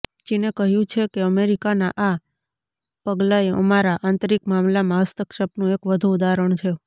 ચીને કહ્યું છે કે અમેરિકાના આ પગલાંએ અમારા આંતરિક મામલામાં હસ્તક્ષેપનું એક વધુ ઉદાહરણ છે